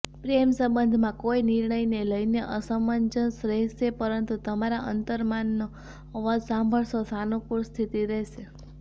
પ્રેમ સંબંધમાં કોઈ નિર્ણયને લઈને અસમંજસ રહેશે પરંતુ તમારા અંતર્મનનો અવાજ સાંભળશો સાનુકુળ સ્થિતિ રહેશે